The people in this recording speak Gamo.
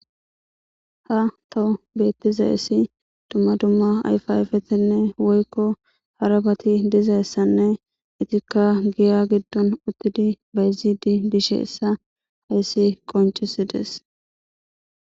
Hayissan betizayissi dumma dumma ayifa ayifeti woykko harabati dizayissanne ubatikka giya giddon dizayissa qoncciside qonccisses